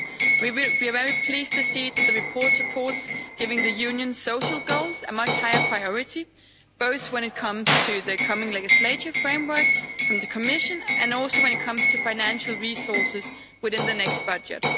We are very pleased to see that the report supports giving the Union's social goals a much higher priority, both when it comes to the coming legislative framework from the Commission and also when it comes to financial resources within the next budget.